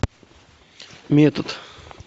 метод